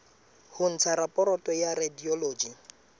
ho ntsha raporoto ya radiology